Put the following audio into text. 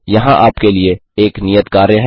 यहां आपके लिए एक नियत कार्य है